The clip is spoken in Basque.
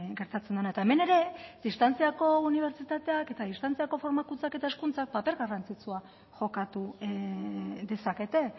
gertatzen dena eta hemen ere distantziako unibertsitateak eta distantziako formakuntzak eta hezkuntzak paper garrantzitsua jokatu dezakete